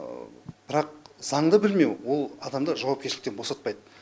бірақ заңды білмеу ол адамды жауапкершіліктен босатпайды